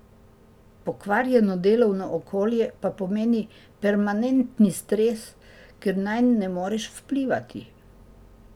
Pokvarjeno delovno okolje pa pomeni permanentni stres, ker nanj ne moreš vplivati.